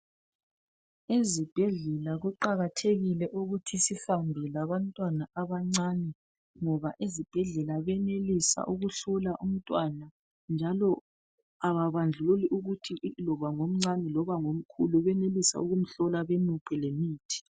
Ezibhedlela kuqakathekile ukuthi sihambe labantwana abancane ngoba ezibhedlela benelisa ukuhlola umntwana njalo ababandlululi ukuthi ngomncane loba ngomkhulu benelisa ukumhlola bamuphe lemithi.